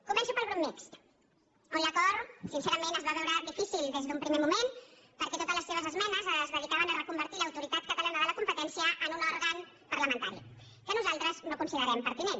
començo pel grup mixt on l’acord sincerament es va veure difícil des d’un primer moment perquè totes les seves esmenes es dedicaven a reconvertir l’autoritat catalana de la competència en un òrgan parlamentari que nosaltres no considerem pertinent